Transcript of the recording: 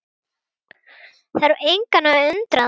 Þarf engan að undra það.